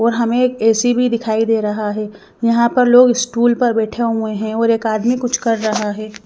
और हमें एक ए_सी भी दिखाई दे रहा है यहां पर लोग स्टूल पर बैठे हुए हैं और एक आदमी कुछ कर रहा है।